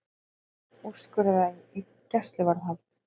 Tveir úrskurðaðir í gæsluvarðhald